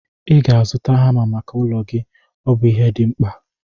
Ị ga-azụta hama maka ụlọ gị, ọ bụ ihe dị mkpa